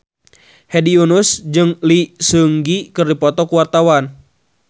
Hedi Yunus jeung Lee Seung Gi keur dipoto ku wartawan